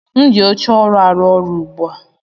M ji oche ọrụ arụ ọrụ ugbu a.